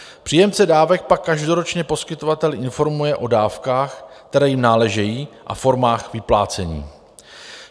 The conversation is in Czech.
Příjemce dávek pak každoročně poskytovatel informuje o dávkách, které jim náležejí, a formách vyplácení.